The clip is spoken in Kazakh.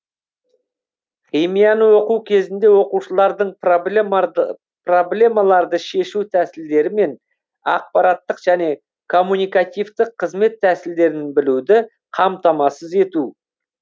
химияны оқу кезінде оқушылардың проблемаларды шешу тәсілдері мен ақпараттық және коммуникативтік қызмет тәсілдерін білуді қамтамасыз ету